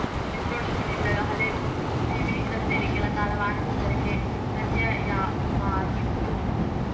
Puneeth road ಶೋನಿಂದಾಗಿ ಹಲೆ ಪಿಬಿರಸ್ತೆಯಲ್ಲಿ ಕೆಲ ಕಾಲ ವಾಹನ ಸಂಚಾರಕ್ಕೆ ವ್ಯತ್ಯಯವಾಗಿತ್ತು